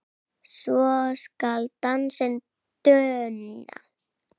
svo skal dansinn duna